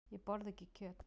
Ég borða ekki kjöt.